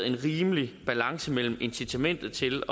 en rimelig balance mellem incitamentet til